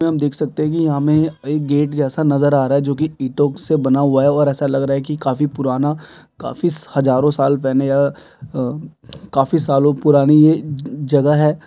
यंहा पर हम देख सकते है की यहाँ हमे गेट जैसा नजर आ रहा है जो की ईटो से बना हुआ है और ऐसा लग रहा है की काफी पुराना काफी हजारो साल बने अ काफी सालो पुरानी ये जगह है।